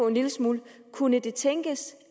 en lille smule kunne det tænkes